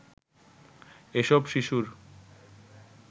এসব শিশুর